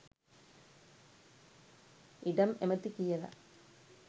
ඉඩම් ඇමති කියල